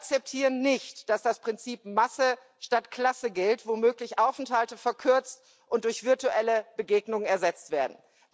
Wir akzeptieren nicht, dass das Prinzip Masse statt Klasse gilt, womöglich Aufenthalte verkürzt und durch virtuelle Begegnung ersetzt werden.